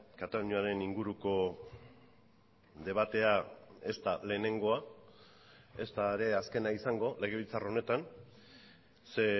kataluniaren inguruko debatea ez da lehenengoa ezta ere azkena izango legebiltzar honetan ze